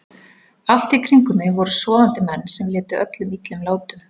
Allt í kring um mig voru sofandi menn sem létu öllum illum látum.